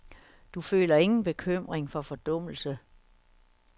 Du føler ingen bekymring for fordummelse.